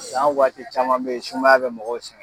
San waati caman be ye sumaya be mɔgɔw sɛgɛ